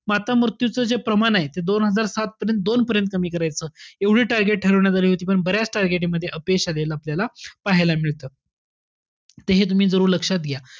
माता मृत्यूचं जे प्रमाण आहे ते दोन हजार सात पर्यंत दोन पर्यंत कमी करायचं. एवढे target ठरवण्यात आले होते पण बऱ्याच target मध्ये अपयश आलेलं आपल्याला पाहायला मिळतं, त हे तुम्ही जरूर लक्षात घ्या.